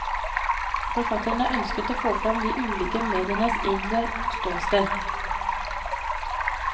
Forfatterne ønsker å få frem de ulike medienes egentlige ståsted.